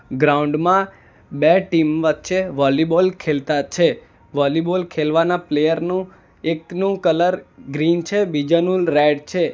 Ground માં બે team વચ્ચે વોલીબૉલ ખેલતા છે વોલીબૉલ ખેલવાના પ્લેયર નું એકનું કલર ગ્રીન છે બીજાનું રેડ છે.